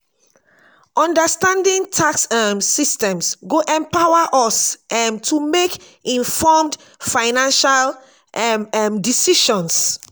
understanding tax um systems go empower us um to make informed financial um um decisions.